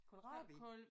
Kålrabi?